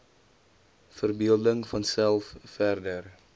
verbeelding vanself verder